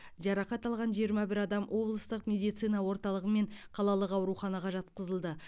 жарақат алған жиырма бір адам облыстық медицина орталығы мен қалалық ауруханаға жатқызылды